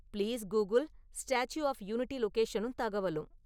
please Google Statue of Unity லொக்கேஷனும் தகவலும்